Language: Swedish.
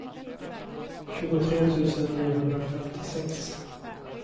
tjugotre tusen niohundrafemtiosex